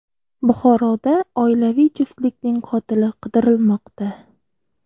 Buxoroda oilaviy juftlikning qotili qidirilmoqda.